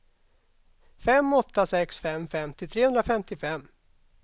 fem åtta sex fem femtio trehundrafemtiofem